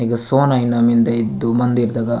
एगो सोना इना मिन्दे इद्दू मंदिर दगा --